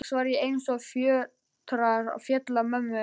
Loks var eins og fjötrar féllu af mömmu.